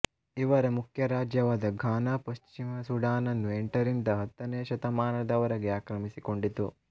ಇವರ ಮುಖ್ಯ ರಾಜ್ಯವಾದ ಘಾನ ಪಶ್ಚಿಮ ಸೂಡಾನನ್ನು ಎಂಟರಿಂದ ಹತ್ತನೆಯ ಶತಮಾನದವರೆಗೆ ಆಕ್ರಮಿಸಿಕೊಂಡಿತ್ತು